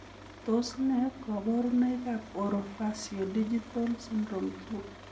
Tos nee koborunoikab Orofaciodigital syndrome 2?